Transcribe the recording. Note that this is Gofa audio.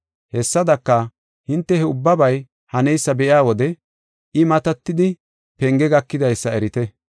Hessadaka, hinte he ubbabay haneysa be7iya wode, I matidi penge gakidaysa erite.